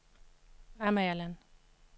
Amagerland